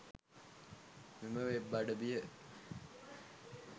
මෙම වෙබ් අඩවිය